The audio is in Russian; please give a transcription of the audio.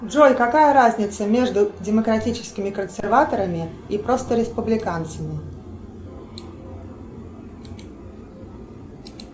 джой какая разница между демократическими консерваторами и просто республиканцами